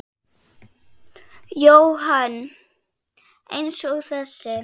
Jóhann: Eins og þessi?